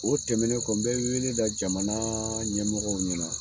O tɛmɛnen kɔ n be wele da jamanaa ɲɛmɔgɔw ɲɛna